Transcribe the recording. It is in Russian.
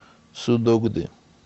судогды